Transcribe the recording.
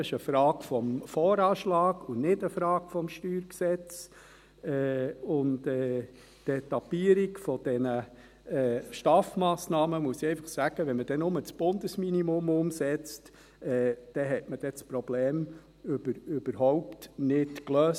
Das ist eine Frage des VA und nicht des StG. Und zur Etappierung dieser STAF-Massnahmen muss ich einfach sagen: Wenn man dann nur das Bundesminimum umsetzt, hat man das Problem überhaupt nicht gelöst.